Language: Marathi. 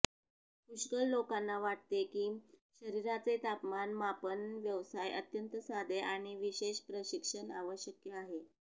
पुष्कळ लोकांना वाटते की शरीराचे तापमान मापन व्यवसाय अत्यंत साधे आणि विशेष प्रशिक्षण आवश्यक आहे